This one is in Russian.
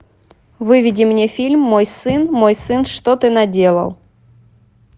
выведи мне фильм мой сын мой сын что ты наделал